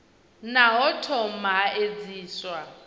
naa ho thoma ha edziswa